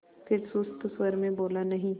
फिर सुस्त स्वर में बोला नहीं